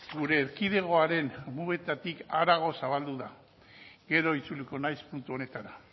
gure erkidegoaren mugetatik harago zabaldu da gero itzuliko naiz puntu honetara